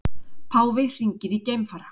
Páfi hringir í geimfara